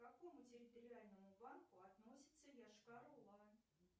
к какому территориальному банку относится йошкар ола